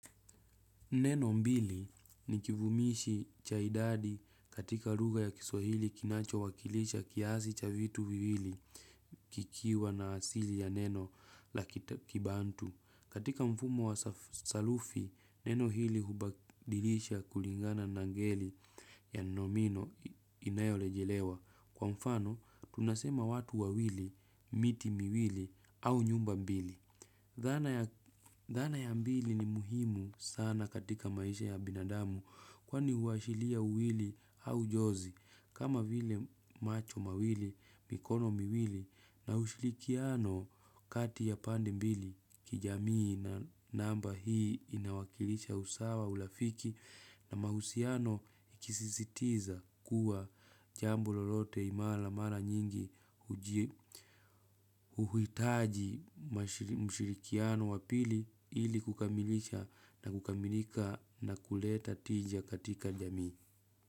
Neno mbili ni kivumishi cha idadi katika lugha ya kiswahili kinachowakilisha kiasi cha vitu viwili kikiwa na asili ya neno la kibantu. Katika mfumo wa sarufi, neno hili hubadilisha kulingana na ngeli ya nomino inayorejelewa. Kwa mfano, tunasema watu wawili, miti miwili au nyumba mbili. Dhana ya mbili ni muhimu sana katika maisha ya binadamu kwani huashilia uwili au jozi kama vile macho mawili mikono miwili na ushirikiano kati ya pande mbili kijamii na namba hii inawakilisha usawa urafiki na mahusiano ikisisitiza kuwa jambo lolote imara mara nyingi uji uhitaji mashi mshirikiano wa pili ili kukamilisha na kukamilika na kuleta tija katika jamii.